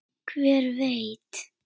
Hver veit?